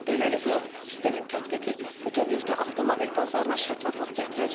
Beləliklə, sistemin tətbiqi bütövlükdə avtomobil bazarına şəffaflıq gətirəcək.